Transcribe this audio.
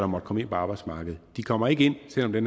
måtte komme ind på arbejdsmarkedet de kommer ikke ind selv om det